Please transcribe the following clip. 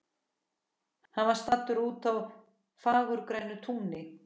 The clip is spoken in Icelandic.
Hann var staddur úti á fagurgrænu túni.